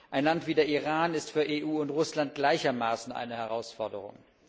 Ein Land wie der Iran ist für EU und Russland gleichermaßen eine Herausforderung.